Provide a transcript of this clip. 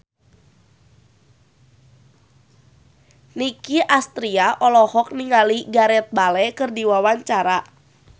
Nicky Astria olohok ningali Gareth Bale keur diwawancara